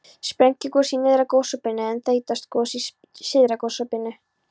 Sprengigos í nyrðra gosopinu en þeytigos í syðra gosopinu.